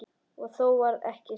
Og þó varð ekkert sannað.